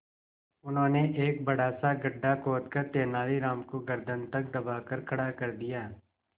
उन्होंने एक बड़ा सा गड्ढा खोदकर तेलानी राम को गर्दन तक दबाकर खड़ा कर दिया